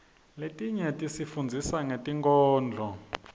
letinye tisifundzisa ngetinkhondlo